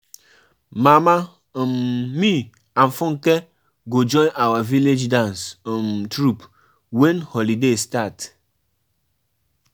See as my body dey shake. I no um want anything to do um with juju.